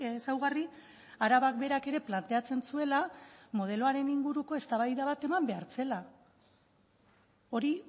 ezaugarri arabak berak ere planteatzen zuela modeloaren inguruko eztabaida bat eman behar zela hori